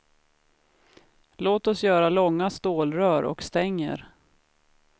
Låt oss göra långa stålrör och stänger.